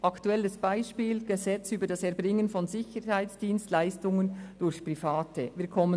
Ein aktuelles Beispiel dafür ist das Gesetz über das Erbringen von Sicherheitsdienstleistungen durch Private (SDPG).